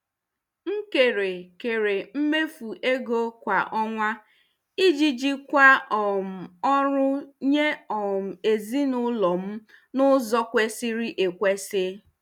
M kere kere mmefu ego kwa ọnwa iji jikwaa um ọrụ nye um ezinụlọ m n'ụzọ kwesịrị ekwesị.